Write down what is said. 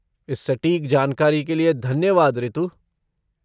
इस सटीक जानकारी के लिए धन्यवाद ऋतु।